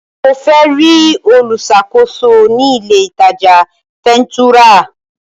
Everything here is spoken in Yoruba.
Mo fẹ́ rí olùṣàkóso ní ilé ìtajà fẹ̀ńtúrà.